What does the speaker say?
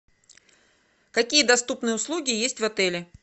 какие доступные услуги есть в отеле